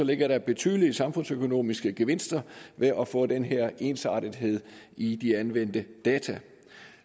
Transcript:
ligger betydelige samfundsøkonomiske gevinster ved at få den her ensartethed i de anvendte data